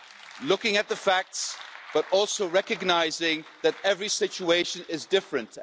We look at the facts, while also recognising that every situation is different.